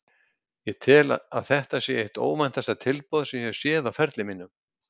Ég tel að þetta sé eitt óvæntasta tilboð sem ég hef séð á ferli mínum.